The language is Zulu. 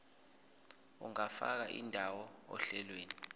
ungafaka indawo ohlelweni